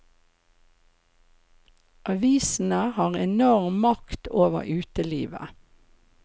Avisene har enorm makt over utelivet.